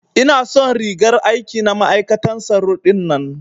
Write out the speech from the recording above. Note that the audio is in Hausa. Ina son rigar aiki na ma'aikatan tsaro dinnan.